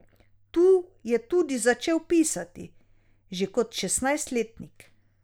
Tu je tudi začel pisati, že kot šestnajstletnik.